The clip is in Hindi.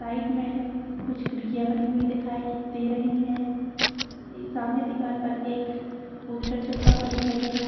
साइड मैं कुछ खिड़कियां बनी हुई दिखाई दे रही है इ सामने दिवार पर एक पोस्टर चिपका हुआ दिखाई दे रहा है।